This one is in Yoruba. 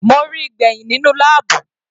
Mo ríi gbẹ̀hìn nínú láàbù.